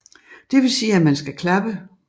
Det vil sige at man skal klappe